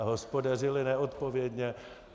A hospodařili neodpovědně.